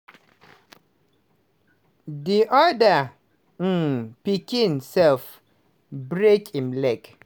di other um pikin self break him leg.